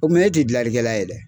O kuma e ti gilalikɛla ye dɛ